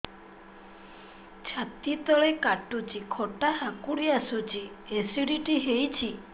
ଛାତି ତଳେ କାଟୁଚି ଖଟା ହାକୁଟି ଆସୁଚି ଏସିଡିଟି ହେଇଚି